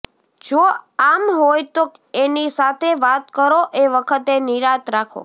જો આમ હોય તો એની સાથે વાત કરો એ વખતે નિરાંત રાખો